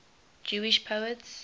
jewish poets